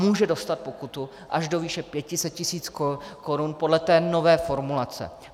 Může dostat pokutu až do výše 500 tisíc korun podle té nové formulace.